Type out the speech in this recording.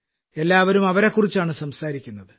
എല്ലാവരും അവരെക്കുറിച്ചാണ് സംസാരിക്കുന്നത്